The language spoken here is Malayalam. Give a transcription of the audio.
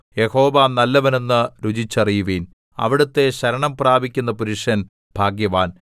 യഹോവ നല്ലവൻ എന്ന് രുചിച്ചറിയുവിൻ അവിടുത്തെ ശരണം പ്രാപിക്കുന്ന പുരുഷൻ ഭാഗ്യവാൻ